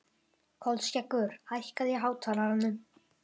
Kolskeggur, hækkaðu í hátalaranum.